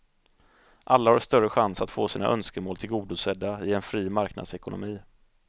Alla har större chans att få sina önskemål tillgodosedda i en fri marknadsekonomi.